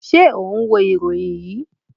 Ṣe o ṣ ń wo iroyin yii?